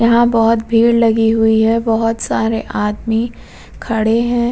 यहाँ बहोत भीड़ लगी हुई है। बहोत सारे आदमी खड़े हैं।